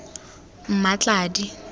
mmatladi